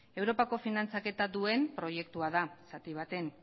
europako finantzaketa duen proiektua da zati baten